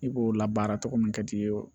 I b'o labaara cogo min ka t'i ye o